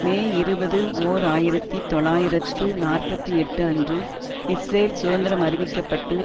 மே இருபது ஓர் ஆயிரத்தி தொள்ளாயிரத்து நாற்பத்தி எட்டு அன்று இஸ்ரேல் சுதந்திரம் அறிவிக்க பட்டு